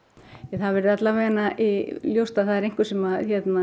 það er allavega ljóst að það er einhver sem